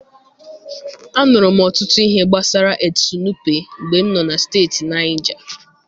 Anụrụ m ọtụtụ ihe gbasara Etsu Nupe mgbe m nọ na steeti Naijaa.